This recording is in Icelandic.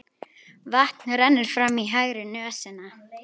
Vatn rennur fram í hægri nösina.